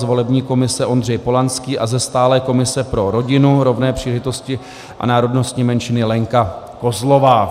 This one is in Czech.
Z volební komise Ondřej Polanský a ze stálé komise pro rodinu, rovné příležitosti a národnostní menšiny Lenka Kozlová.